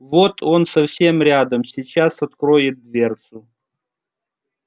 вот он совсем рядом сейчас откроет дверцу